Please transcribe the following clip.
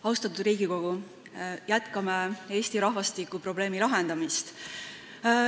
Austatud Riigikogu, jätkame Eesti rahvastikuprobleemi lahendamist.